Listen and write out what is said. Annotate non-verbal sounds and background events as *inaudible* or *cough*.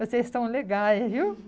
Vocês estão legais, viu? *laughs*